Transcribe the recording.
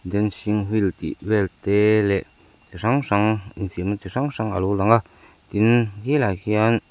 dancing wheel tih vel te leh ti hrang hrang infiamna ti hrang hrang alo lang a tin khilaiah khian--